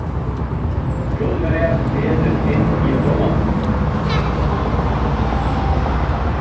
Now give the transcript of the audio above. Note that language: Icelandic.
Þjóðverjar réðust inn í Pólland.